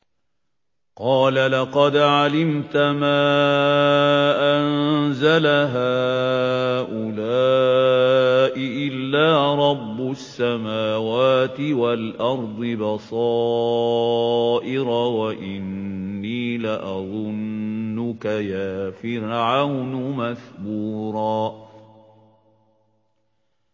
قَالَ لَقَدْ عَلِمْتَ مَا أَنزَلَ هَٰؤُلَاءِ إِلَّا رَبُّ السَّمَاوَاتِ وَالْأَرْضِ بَصَائِرَ وَإِنِّي لَأَظُنُّكَ يَا فِرْعَوْنُ مَثْبُورًا